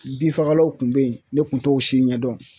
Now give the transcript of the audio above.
Bin fagalaw tun be yen ne kun t'o si ɲɛdɔn